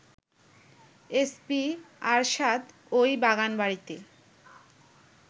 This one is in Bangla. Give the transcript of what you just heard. এসপি আরশাদ ওই বাগানবাড়িতে